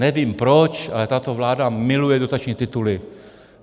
Nevím proč, ale tato vláda miluje dotační tituly.